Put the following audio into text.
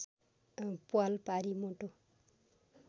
प्वाल पारी मोटो